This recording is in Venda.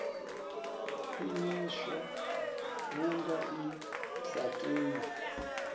khwiṋiswa vhunga i sa tei